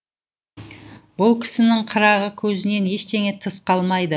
бұл кісінің қырағы көзінен ештеңе тыс қалмайды